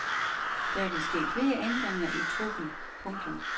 Der vil ske flere ændringer i truppen. punktum